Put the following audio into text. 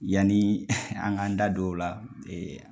Yanni an ka da don o la